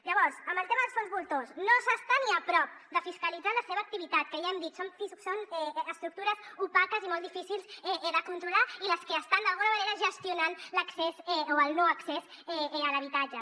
llavors en el tema dels fons voltors no s’està ni a prop de fiscalitzar la seva activitat que ja ho hem dit són estructures opaques i molt difícils de controlar i les que estan d’alguna manera gestionant l’accés o el no accés a l’habitatge